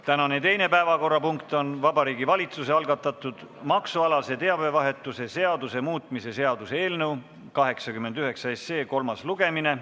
Tänane teine päevakorrapunkt on Vabariigi Valitsuse algatatud maksualase teabevahetuse seaduse muutmise seaduse eelnõu 89 kolmas lugemine.